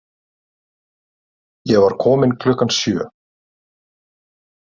Ég var komin klukkan sjö.